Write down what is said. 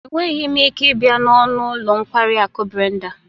Enweghị m ike ịbịa n'ọnụ ụlọ nkwari akụ Brenda